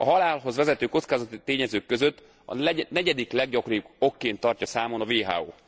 A halálhoz vezető kockázati tényezők között a negyedik leggyakoribb okként tartja számon a WHO.